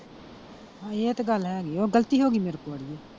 ਇਹ ਤੇ ਗੱਲ ਹੈਗੀ ਆ ਉਹ ਗਲਤੀ ਹੋਗੀ ਮੇਰੇ ਕੋਲ ਅੜੀਏ।